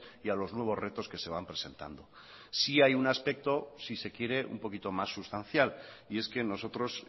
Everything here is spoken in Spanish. y a los nuevos retos que se van presentando sí hay un aspecto si se quiere un poquito más sustancial y es que nosotros